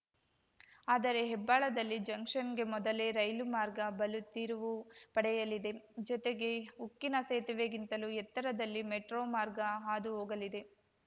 ಆದರೆ ಹೆಬ್ಬಾಳದಲ್ಲಿ ಜಂಕ್ಷನ್‌ಗೆ ಮೊದಲೇ ರೈಲು ಮಾರ್ಗ ಬಲ ತಿರುವು ಪಡೆಯಲಿದೆ ಜತೆಗೆ ಉಕ್ಕಿನ ಸೇತುವೆಗಿಂತಲೂ ಎತ್ತರದಲ್ಲಿ ಮೆಟ್ರೋ ಮಾರ್ಗ ಹಾದು ಹೋಗಲಿದೆ